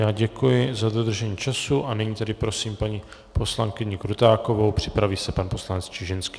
Já děkuji za dodržení času a nyní tedy prosím paní poslankyni Krutákovou, připraví se pan poslanec Čižinský.